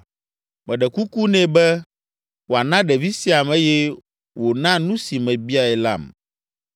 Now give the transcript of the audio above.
Meɖe kuku nɛ be wòana ɖevi siam eye wòna nu si mebiae lam.